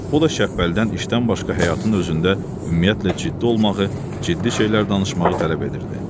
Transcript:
O da Şəpbəlidən işdən başqa həyatın özündə ümumiyyətlə ciddi olmağı, ciddi şeylər danışmağı tələb edirdi.